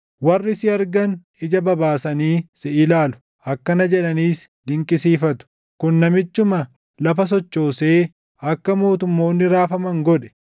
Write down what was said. Warri si argan ija babaasanii si ilaalu; akkana jedhaniis dinqisiifatu: “Kun namichuma lafa sochoosee akka mootummoonni raafaman godhe,